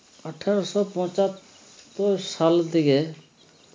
আঠেরোশো পঁচাত্তর সাল থেকে